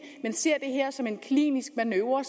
men ser det her som en klinisk manøvre